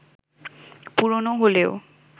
পুরনো হলেও